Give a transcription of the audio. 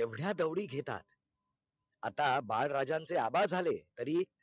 एवढ्या दवडी घेतात आता बाळराजांचे आबा झाले तरी